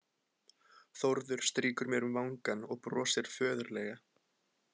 Þórður strýkur mér um vangann og brosir föðurlega.